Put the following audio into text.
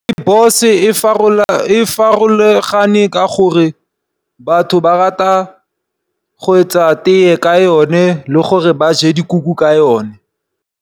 Rooibos e farologane ka gore batho ba rata go etsa tee ka yone le gore ba je dikuku ka yone.